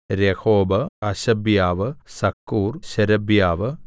Rehob Hashabiah Zaccur ശേരെബ്യാവ്